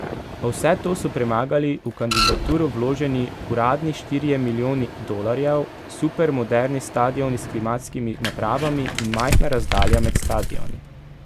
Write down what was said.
A vse to so premagali v kandidaturo vloženi uradni štirje milijoni dolarjev, supermoderni stadioni s klimatskimi napravami in majhna razdalja med stadioni.